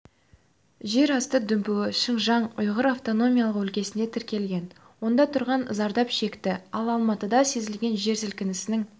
жерасты дүмпуі шыңжаң ұйғыр автономиялық өлкесінде тіркелген онда тұрғын зардап шекті ал алматыда сезілген жер сілкінісінің